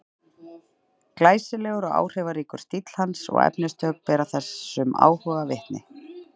Glæsilegur og áhrifaríkur stíll hans og efnistök bera þessum áhuga vitni.